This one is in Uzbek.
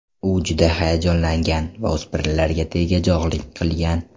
U juda hayajonlangan va o‘spirinlarga tegajog‘lik qilgan.